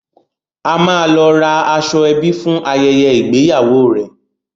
A máa lọ ra aṣọ-ẹbí fún ayẹyẹ ìgbéyàwó rẹ̀.